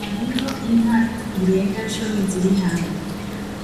Hariho inka irenga cumi ziri hamwe